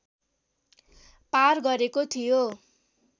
पार गरेको थियो